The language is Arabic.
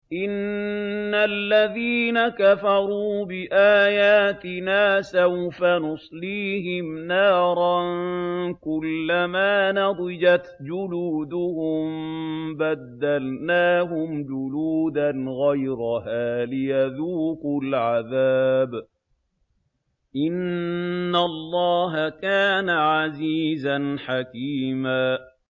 إِنَّ الَّذِينَ كَفَرُوا بِآيَاتِنَا سَوْفَ نُصْلِيهِمْ نَارًا كُلَّمَا نَضِجَتْ جُلُودُهُم بَدَّلْنَاهُمْ جُلُودًا غَيْرَهَا لِيَذُوقُوا الْعَذَابَ ۗ إِنَّ اللَّهَ كَانَ عَزِيزًا حَكِيمًا